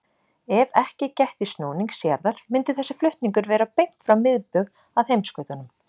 Ef ekki gætti snúnings jarðar myndi þessi flutningur vera beint frá miðbaug að heimskautunum.